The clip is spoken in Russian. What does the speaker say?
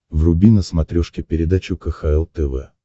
вруби на смотрешке передачу кхл тв